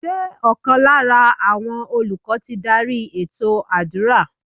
Ṣé ọ̀kan lára àwọn olùkọ́ ti dárí ètò àdúrà?